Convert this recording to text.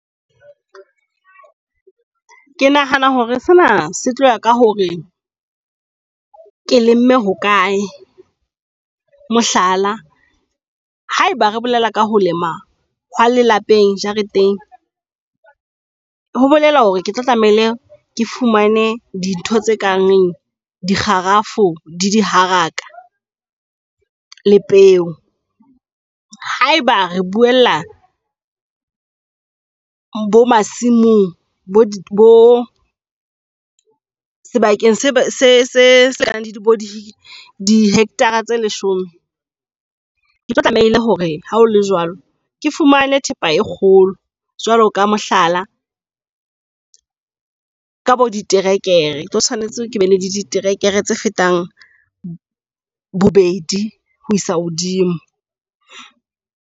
Ke nahana hore sena se tloya ka hore ke lemme hokae. Mohlala, ha eba re bolela ka ho lema ha lelapeng jareteng, ho bolela hore ke tlo tlamehile ke fumane dintho tse kang dikgarafu, diharaka le peo. Haeba re buella bo masimong sebakeng se se bo di dihekthara tse leshome. Ketlo tlamehile hore ha ho le jwalo, ke fumane thepa e kgolo jwalo ka, mohlala, ka bo diterekere tlo tshwanetse ke be le diterekere tse fetang bobedi ho isa hodimo.